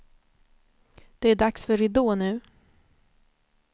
Det är dags för ridå nu.